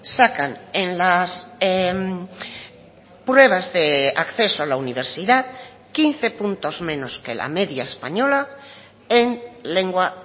sacan en las pruebas de acceso a la universidad quince puntos menos que la media española en lengua